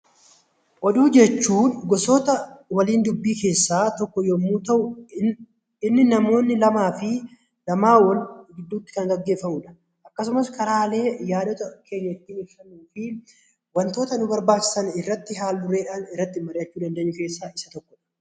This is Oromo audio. Oduu jechuun gosoota waliin dubbii keessaa tokko yommuu ta'u, innis namoota lamaa fi lamaa ol gidduutti kan gaggeeffamudha. Akkasumas karaalee yaadota keenya ittiin ibsannuu fi wantoota nu barbaachisan irratti haal-dureedhaan irratti marii'achuu dandeenyu keessaa isa tokko.